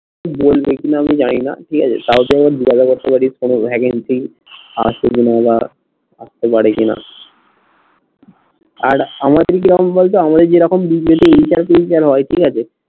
জানি না ঠিক আছে তাও তুই আবার জিজ্ঞাসা করতে পারিস কোনো vacancy আছে কি না বা থাকতে পারে কি না, আর হয় ঠিক আছে